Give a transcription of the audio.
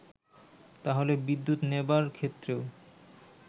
তাহলে বিদ্যুৎ নেবার ক্ষেত্রেও